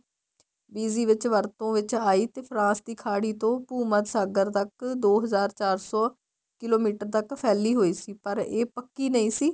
BC ਵਿੱਚ ਵਰਤੋਂ ਵਿੱਚ ਆਈ ਤੇ ਫਰਾਸ ਦੀ ਖਾੜੀ ਤੋ ਭੂ ਮੱਧ ਸਾਗਰ ਤੱਕ ਦੋ ਹਜ਼ਾਰ ਚਾਰ ਸੋ ਕਿਲੋਮੀਟਰ ਤੱਕ ਫ਼ੈਲੀ ਹੋਈ ਸੀ ਪਰ ਇਹ ਪੱਕੀ ਨਹੀਂ ਸੀ